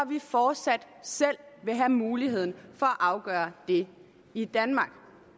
vi fortsat selv vil have mulighed for at afgøre det i danmark